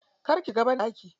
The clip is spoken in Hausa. Kar ki shiga banɗaki.